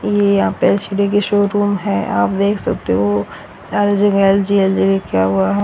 ये पर H D की शोरूम है। आप देख सकते हो क्या हुआ--